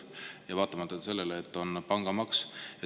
Seda vaatamata sellele, et seal on pangamaks.